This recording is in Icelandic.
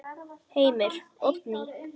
Heimir: Oddný?